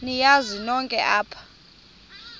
niyazi nonk apha